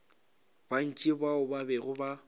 bantši bao ba bego ba